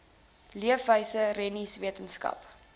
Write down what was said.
leefwyse rennies wetenskap